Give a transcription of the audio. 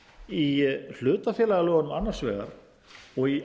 í hlutafélagalögunum annars vegar og í